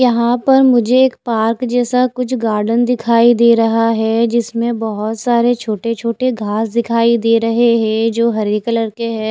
यहा पर मुझे एक पार्क जेसा कुछ गार्डन दिखाई दे रहा है जिसमे बहोत सारे छोटे छोटे घास दिखाई दे रहे है जो हरे कलर के है।